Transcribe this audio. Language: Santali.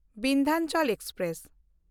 ᱵᱤᱱᱫᱷᱟᱪᱚᱞ ᱮᱠᱥᱯᱨᱮᱥ